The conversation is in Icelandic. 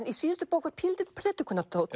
í síðustu bók var pínulítill